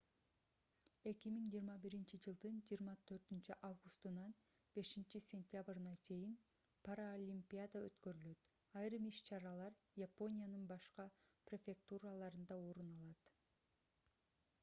2021-ж 24-августунан 5-сентябрына чейин паралимпиада өткөрүлөт айрым иш-чаралар япониянын башка префектураларында орун алат